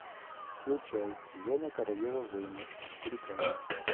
включай зена королева воинов четыре ка